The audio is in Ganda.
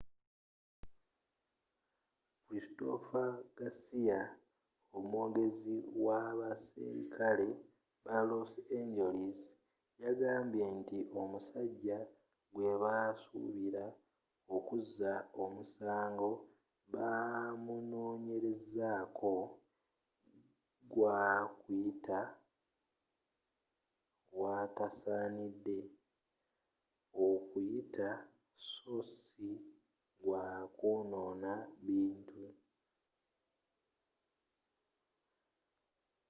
christopher garcia omwogezi w'abaserikale ba los angeles yagambye nti omusajja gwebasubira okkuza omusango bamunonyerezako gwa kuyita waatasanide okuyita sso ssi gwa kwonona bintu